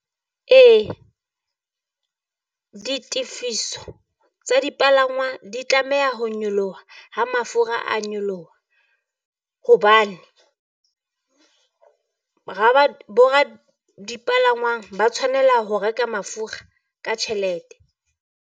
Ee, ditefiso tsa dipalangwa di tlameha ho nyoloha ha mafura a nyoloha hobane, dipalangwang ba tshwanela ho reka mafura ka tjhelete.